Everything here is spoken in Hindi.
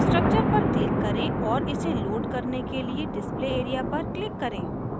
structure पर click करें और इसे load करने के लिए display area पर click करें